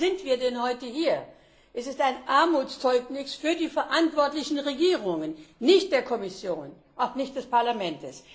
Warum sind wir denn heute hier? Es ist ein Armutszeugnis für die verantwortlichen Regierungen nicht für die Kommission, auch nicht für das Parlament!